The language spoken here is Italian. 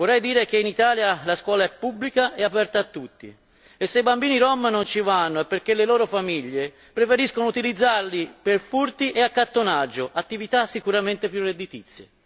Vorrei dire che in Italia la scuola è pubblica e aperta a tutti e se i bambini rom non ci vanno è perché le loro famiglie preferiscono utilizzarli per furti e accattonaggio, attività sicuramente più redditizie.